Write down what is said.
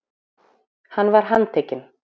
Hann var handtekinn